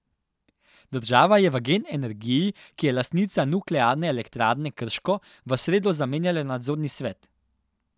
Država je v Gen Energiji, ki je lastnica Nuklearne elektrarne Krško, v sredo zamenjala nadzorni svet.